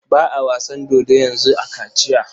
Ba a wasan dodo yanzu a Kachiya.